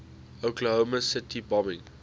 oklahoma city bombing